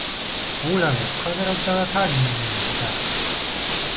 Ólavía, hvað er á dagatalinu mínu í dag?